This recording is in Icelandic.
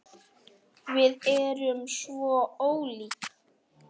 Ypptir öxlum.